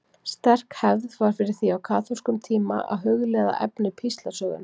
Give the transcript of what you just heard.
Sterk hefð var fyrir því á kaþólskum tíma að hugleiða efni píslarsögunnar.